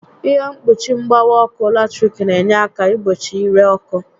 Ihe mkpuchi mgbawa ọkụ latiriki n'enye àkà igbochi ire ọkụ